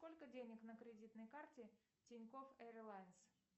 сколько денег на кредитной карте тинькофф эйрлайнс